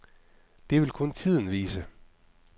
Det vil kun tiden vise.